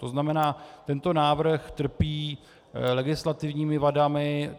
To znamená, tento návrh trpí legislativními vadami.